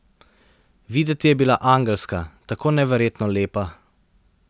Videti je bila angelska, tako neverjetno lepa.